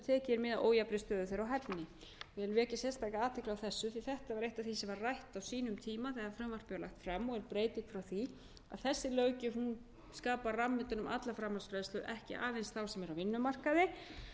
mið af ójafnri stöðu þeirra og hæfni ég vil vekja sérstaka athygli á þessu því að þetta var eitt af því sem var rætt á sínum tíma þegar frumvarpið var lagt fram og út frá því að þessi löggjöf skapar ramma utan um alla framhaldsfræðslu ekki aðeins starfsmanna á vinnumarkaði